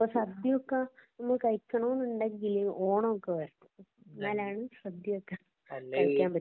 ഇവിടത്തെ സദ്യയൊക്കെ കഴിക്കണോന്നുണ്ടെങ്കില് ഓണമൊക്കെ വരണം. എന്നലാണ് സദ്യയൊക്കെ കഴിക്കാന്‍ പറ്റുക